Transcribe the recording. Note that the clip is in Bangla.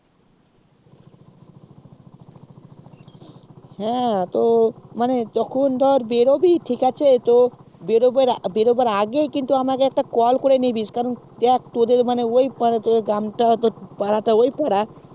হ্যাঁ তো মানে যখন তুই বেরোটিস ঠিকআছে তো বেরোবার আগেই আমাকে কিন্তু একটা call করে নিবি কারণ দেখ তোদের ওই পাড়াতে বাড়ি পারাটা ওই পাড়া